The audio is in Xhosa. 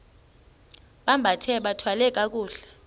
bambathe bathwale kakuhle